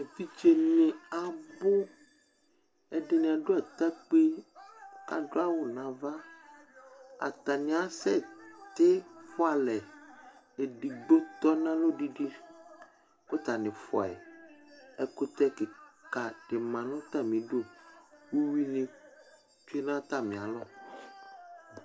Evidzenɩ abu Ɛdɩnɩ adu atakpi kʋ adu awʋ nava Atani asɛtɩfʋalɛ Edigbo tɔnʋ alɔ didi kʋ atani fʋayɩ Ɛkʋtɛkika dima nʋ atami ɩdʋ Ʋyʋi nɩ bɩ dʋ atamialɔ